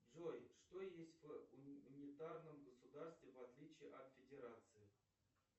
джой что есть в унитарном государстве в отличии от федерации